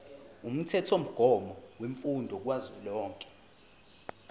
umthethomgomo wemfundo kazwelonke